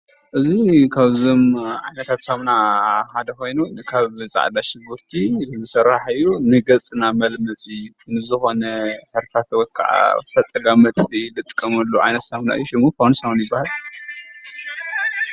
እዚ ካብዞም ዓይነታት ሳሙና ሓደ ኮይኑ ካብ ፃዕዳሽጉርቲ ዝስራሕ እዩ። ንገፅና መልመፂ ንዝኮነ ሕርፋፍ ወይከዓ ፈፀጋ መጥፍኢ እንጥቀመሉ ዓይነት ሳሙና እዩ። ሽሙ ፋመስ ይበሃል።